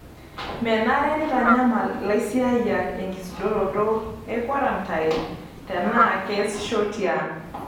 Menare neitanyamal lasiayiak enkisudoroto e kwarantain tena keasisho tiang'.